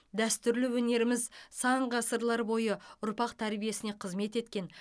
дәстүрлі өнеріміз сан ғасырлар бойы ұрпақ тәрбиесіне қызмет еткен